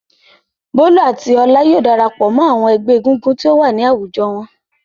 Bólú àti Ọlá yóò dara pọ̀ mọ́ àwọn ẹgbẹ́ egúngún tí ó wà ní àwùjọ wọn.